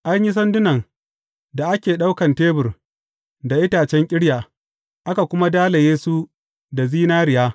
An yi sandunan da ake ɗaukan tebur da itacen ƙirya, aka kuma dalaye su da zinariya.